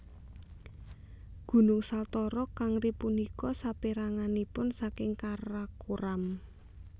Gunung Saltoro Kangri punika saperanganipun saking Karakoram